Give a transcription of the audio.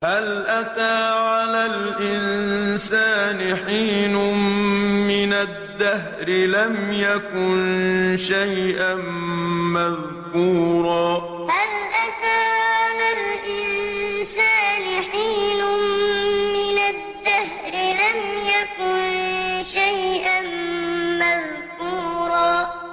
هَلْ أَتَىٰ عَلَى الْإِنسَانِ حِينٌ مِّنَ الدَّهْرِ لَمْ يَكُن شَيْئًا مَّذْكُورًا هَلْ أَتَىٰ عَلَى الْإِنسَانِ حِينٌ مِّنَ الدَّهْرِ لَمْ يَكُن شَيْئًا مَّذْكُورًا